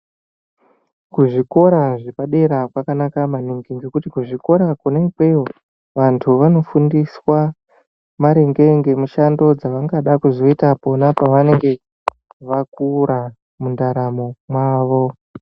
Kuzvikora zvepadera kwanaka maningi ngekuti kuzvikora ikweyo vantu vanofundiswa maringe ngemushando dzavanoda kuzoita pavanenge vakura mundaramo mwavo.